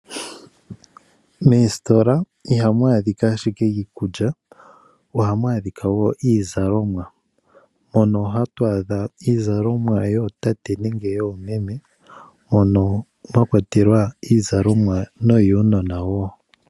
Moositola ihamu adhika ashike iikulya, ohamu adhika wo iizalomwa, mono hatu adha iizalomwa yootate nenge yoomeme, mono mwa kwatelwa iizalomwa noyuunona wo.